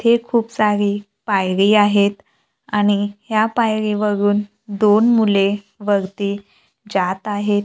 हे खुप सारी पायरी आहेत आणि ह्या पायरीवरून दोन मुले वरती जात आहेत.